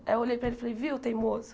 Aí eu olhei para ele e falei, viu, teimoso?